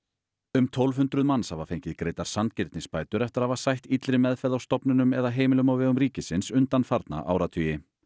um tólf hundruð manns hafa fengið greiddar sanngirnisbætur eftir að hafa sætt illri meðferð á stofnunum eða heimilum á vegum ríkisins undanfarna áratugi